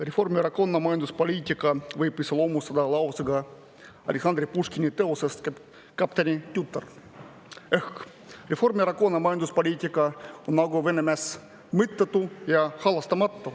Reformierakonna majanduspoliitika võib iseloomustada lausega Aleksandr Puškini teosest "Kapteni tütar": Reformierakonna majanduspoliitika on nagu Vene mäss – mõttetu ja halastamatu.